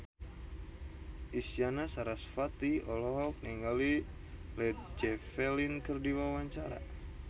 Isyana Sarasvati olohok ningali Led Zeppelin keur diwawancara